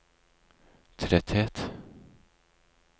tretthet